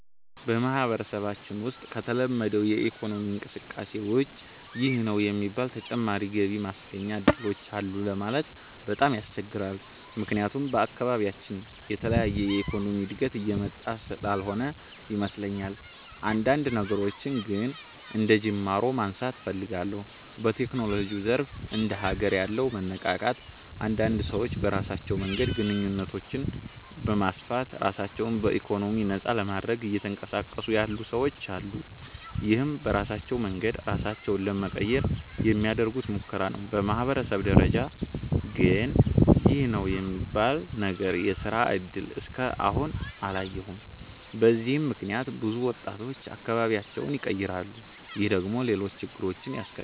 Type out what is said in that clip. በማህበረሰባችን ውሰጥ ከተለመደው የኢኮኖሚ እንቅስቃሴ ውጭ ይህ ነው የሚባል ተጨማሪ ገቢ ማስገኛ እድሎች አሉ ለማለት በጣም ያስቸግራል። ምክያቱም በአካባቢያችን የተለየ የኢኮኖሚ እድገት እየመጣ ስላልሆነ ይመስለኛል። አንዳንድ ነገሮችን ግን አንደጅማሮ ማንሳት እፈልጋለሁ። በቴክኖሎጂው ዘርፍ እንደ ሀገር ያለው መነቃቃት አንዳንድ ሰዎች በራሳቸው መንገድ ግንኙነቶችን በማስፋት ራሳቸው በኢኮኖሚ ነፃ ለማድረግ እየተንቀሳቀሱ ያሉ ሰወች አሉ። ይህም በራሳቸው መንገድ ራሳቸውን ለመቀየር የሚያደርጉት ሙከራ ነው። በማህበረሰብ ደረጃ ግን ይህ ነው የሚባል ነገር የስራ እድል እስከ አሁን አላየሁም። በዚህም ምክንያት ብዙ ወጣቶች አካባቢያቸውን ይቀራሉ። ይህ ደግሞ ሌሎች ችግሮችን ያስከትላል።